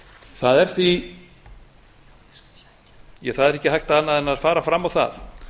það er ekki hægt annað en fara fram á það